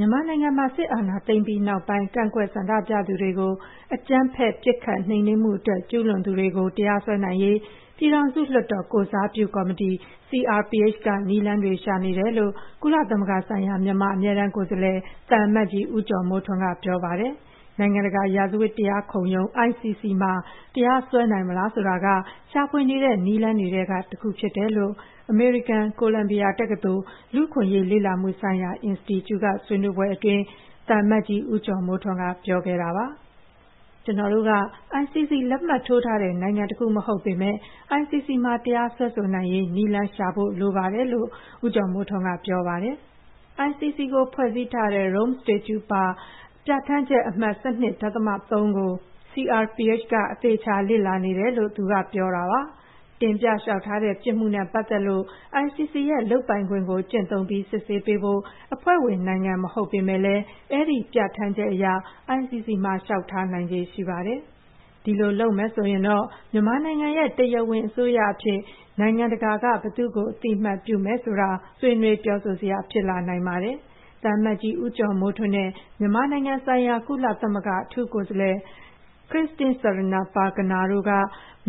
မြန်မာနိုင်ငံမှာ စစ်အာဏာသိမ်းပြီးနောက်ပိုင်း ကန့်ကွက်ဆန္ဒပြသူတွေကို အကြမ်းဖက် ပစ်ခတ်နှိမ်နင်းမှုအတွက် ကျူးလွန်သူတွေကို တရားစွဲဆိုနိုင်ရေး ပြည်ထောင်စုလွှတ်တော်ကိုယ်စားပြုကော်မတီ က နည်းလမ်းတွေရှာနေတယ်လို့ ကုလသမဂ္ဂဆိုင်ရာ မြန်မာအမြဲတန်း ကိုယ်စားလှယ်၊ သံအမတ်ကြီး ဦးကျော်မိုးထွန်းက ပြောပါတယ်။ နိုင်ငံတကာ ရာဇဝတ်တရားခုံရုံး မှာ တရားစွဲနိုင်မလားဆိုတာက ရှာဖွေနေတဲ့နည်းလမ်းတွေထဲမှာ တစ်ခုဖြစ်တယ်လို့ အမေရိကန်၊ ကိုလမ်ဘီယာတက္ကသိုလ်၊ လူ့အခွင့်အရေးလေ့လာမှုဆိုင်ရာအင်စတီကျူမှာ လုပ်တဲ့ ဆွေးနွေးပွဲတစ်ခုအတွင်း သံအမတ်ကြီးဦးကျော်မိုးထွန်းက ပြောခဲ့ပါတယ်။ "ကျနော်တို့က ICC လက်မှတ်ထိုးထားတဲ့ နိုင်ငံတစ်ခုမဟုတ်ပေမယ့် ICC မှာ တရားစွဲဆိုနိုင်ရေး နည်းလမ်းရှာဖွေဖို့ လိုပါတယ်" လို့ ဦးကျော်မိုးထွန်းကပြောပါတယ်"။ ICC ကိုဖွဲ့စည်းထားတဲ့ Rome Statute ပါ ပြဌာန်းချက်အမှတ် ၁၂.၃ ကို CRPH က အသေအချာ လေ့လာနေတယ်လို့ ဦးကျော်မိုးထွန်းကပြောပါတယ်။ တင်ပြလျှောက်ထားတဲ့ ပြစ်မှုနဲ့ပတ်သက်လို့ ICC ရဲ့ လုပ်ပိုင်ခွင့်ကို ကျင့်သုံးပြီး စစ်ဆေးပေးဖို့ အဖွဲ့ဝင်နိုင်ငံမဟုတ်ပေမယ့်လည်း အဲဒီပြဌာန်းချက်အရ ICC မှာ လျှောက်ထားနိုင်ခြေရှိပါတယ်။ ဒီလိုလုပ်ဆောင်မယ်ဆိုရင်တော့ မြန်မာနိုင်ငံရဲ့ တရားဝင်အစိုးရအဖြစ် နိုင်ငံတကာက ဘယ်သူ့ကို အသိအမှတ်ပြုတယ်ဆိုတာ ဆွေးနွေးပြောဆိုစရာ ဖြစ်လာနိုင်ပါတယ်။ သံအမတ်ကြီး ဦးကျော်မိုးထွန်းနဲ့ မြန်မာနိုင်ငံဆိုင်ရာ ကုလသမဂ္ဂအထူးကိုယ်စားလှယ် Christine Schraner Burgener တို့က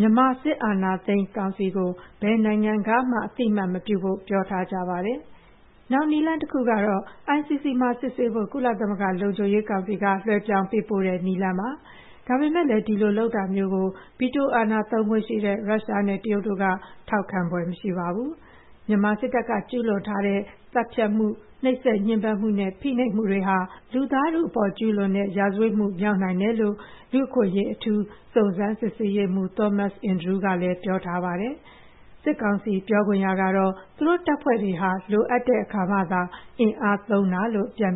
မြန်မာ အာဏာသိမ်းစစ်ကောင်စီကို ဘယ်နိုင်ငံကမှ အသိအမှတ်မပြုဖို့ ပြောထားကြပါ တယ်။ နောက်နည်းလမ်းတစ်ခုကတော့ ICC မှာစစ်ဆေးဖို့ ကုလသမဂ္ဂလုံခြုံရေးကောင်စီက လွှဲပြောင်းပေးပို့တဲ့ နည်းလမ်းပါ။ ဒါပေမယ့်လည်း ဒီလိုလုပ်တာမျိုးကို ဗီတိုအာဏာသုံးခွင့်ရှိတဲ့ ရုရှားနဲ့ တရုတ်တို့က ထောက်ခံ ဖွယ်မရှိပါဘူး။ မြန်မာစစ်တပ်က ကျူးလွန်ထားတဲ့ သတ်ဖြတ်မှု၊ နှိပ်စက်ညှဉ်းပန်းမှုနဲ့ ဖိနှိပ်မှုတွေဟာ လူသားထုအပေါ် ကျူးလွန်တဲ့ ရာဇဝတ်မှုမြောက်နိုင်တယ်လို့ လူ့အခွင့်အရေး အထူးစုံစမ်းစစ်ဆေးရေးမှူး Thomas Andrew ကပြောထားပါတယ်။ စစ်ကောင်စီပြောခွင့်ရကတော့ သူတို့တပ်ဖွဲ့တွေဟာ လိုအပ်တဲ့အခါမှသာ အင်အားသုံးတာလို့ ပြန်